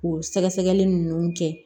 K'o sɛgɛsɛgɛli ninnu kɛ